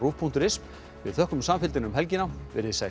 punktur is við þökkum samfylgdina um helgina verið þið sæl